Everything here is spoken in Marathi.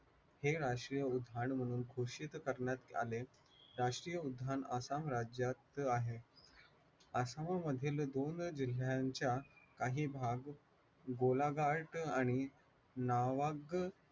हे राष्ट्रीय उद्यान म्हणून घोषित करण्यात आले. राष्ट्रीय उद्यान आसाम राज्यात आहे. आसाममधील दोन जिल्ह्यांचा काही भाग गोलाघाट आणि